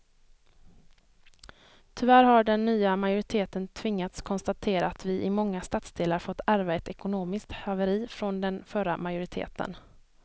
Tyvärr har den nya majoriteten tvingats konstatera att vi i många stadsdelar fått ärva ett ekonomiskt haveri från den förra majoriteten.